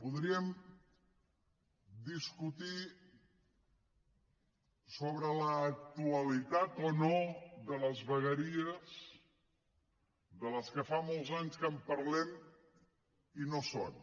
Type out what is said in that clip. podríem discutir sobre l’actualitat o no de les vegueries de les quals fa molts anys que parlem i no són